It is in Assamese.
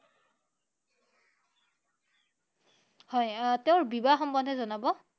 হয় আহ তেওঁৰ বিবাহ সম্বন্ধে জনাব